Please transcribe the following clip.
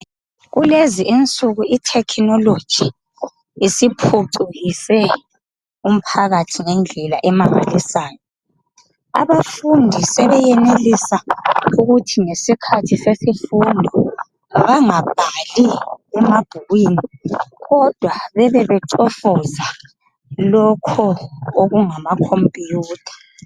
Kulezi insuku ithekhinoloji isiphucukise umphakathi ngendlela emangalisayo. Abafundi sebeyenelisa ukuthi ngesikhathi sesifundo bangabhali emabhukwin kodwa bebebecofoza lokho okungamacompuyutha.